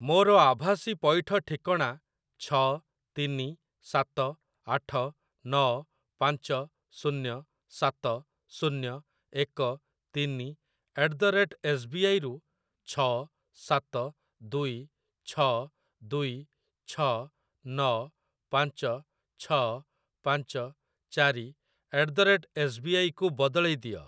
ମୋର ଆଭାସୀ ପଇଠ ଠିକଣା ଛଅ ତିନି ସାତ ଆଠ ନଅ ପାଞ୍ଚ ଶୂନ୍ୟ ସାତ ଶୂନ୍ୟ ଏକ ତିନି at the rate S B I ରୁ ଛଅ ସାତ ଦୁଇ ଛଅ ଦୁଇ ଛଅ ନଅ ପାଞ୍ଚ ଛଅ ପାଞ୍ଚ ଚାରି at the rate S B I କୁ ବଦଳେଇ ଦିଅ।